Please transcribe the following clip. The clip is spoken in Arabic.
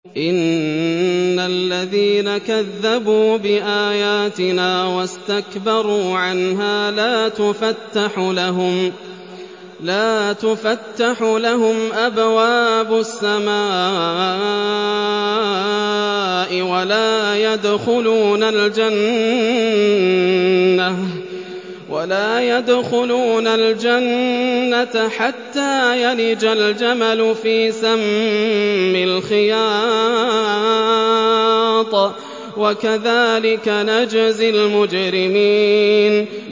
إِنَّ الَّذِينَ كَذَّبُوا بِآيَاتِنَا وَاسْتَكْبَرُوا عَنْهَا لَا تُفَتَّحُ لَهُمْ أَبْوَابُ السَّمَاءِ وَلَا يَدْخُلُونَ الْجَنَّةَ حَتَّىٰ يَلِجَ الْجَمَلُ فِي سَمِّ الْخِيَاطِ ۚ وَكَذَٰلِكَ نَجْزِي الْمُجْرِمِينَ